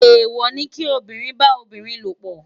Éwò ni ki óbìrín bá óbìrín lópò